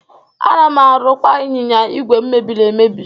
Ana m arụkwa ịnyịnya ìgwè m mebiri emebi.